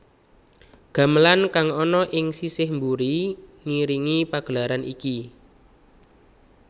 Gamelan kang ana ing sisih mburi ngiringi pagelaran iki